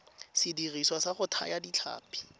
sediriswa sa go thaya ditlhapi